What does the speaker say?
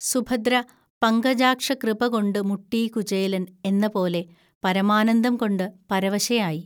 സുഭദ്ര 'പങ്കജാക്ഷകൃപകൊണ്ടു മുട്ടീ കുചേലൻ ' എന്നപോലെ പരമാനന്ദംകൊണ്ടു പരവശയായി